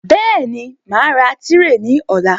Bẹ́ẹ̀ni, màá ra tírè ní ọ̀la